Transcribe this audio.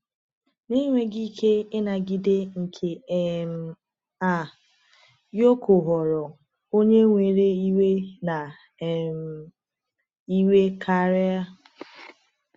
Na enweghị ike ịnagide nke um a, Yoko ghọrọ onye nwere iwe na um iwekarị.